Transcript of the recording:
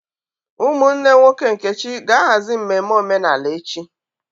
Ụmụnne nwoke Nkechi ga-ahazi mmemme omenala echi.